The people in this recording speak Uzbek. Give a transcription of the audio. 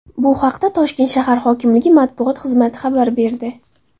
Bu haqda Toshkent shahar hokimligi Matbuot xizmati xabar berdi .